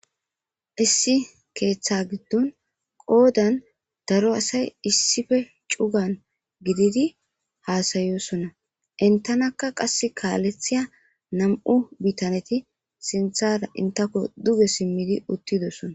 issi keeththa giddon qoodan daro asay issife cugan gididi haasayosona intanakka qas kaalethiya nam7u bitaneti sinthara intako duge simmidi uttidossona